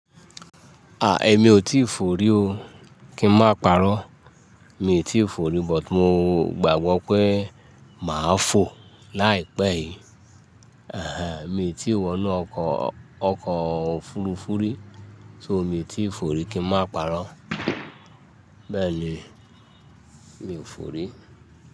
Èmi o ti fò rí o kí n máa parọ́. Mi o ti fò rí but mo gbàgbọ́ pé màá fò láìpẹ́ yìí. Mi n ti wọ inú ọkọ̀ ọkọ̀ òfurufú rí, so mi n ti fò rí kí n máa parọ́. Bẹ́ẹ̀ ni, mi ò fò rí.